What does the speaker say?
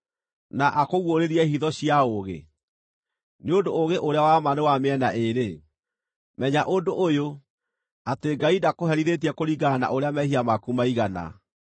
na akũguũrĩrie hitho cia ũũgĩ, nĩ ũndũ ũũgĩ ũrĩa wa ma nĩ wa mĩena ĩĩrĩ. Menya ũndũ ũyũ; atĩ Ngai ndakũherithĩtie kũringana na ũrĩa mehia maku maigana.